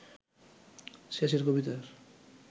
শেষের কবিতার